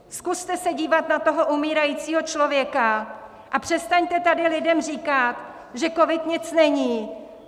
Zkuste se dívat na toho umírajícího člověka a přestaňte tady lidem říkat, že covid nic není!